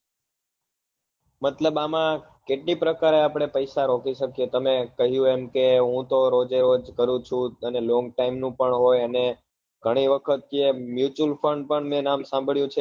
મતલબ આમાં કેટલી પ્રકાર આપડે પૈસા રોકી શકીએ તમે કહ્યું એમ કે હું તો રોજે રોજ કરું છુ અને long time નું પણ હોય અને ગણી વખત કે mutual fund પણ મેં નામ સાંભળ્યું છે